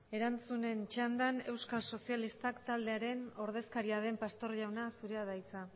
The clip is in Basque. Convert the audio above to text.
erantzunen txandan euskal sozialistak taldearen ordezkaria den pastor jauna zurea da hitza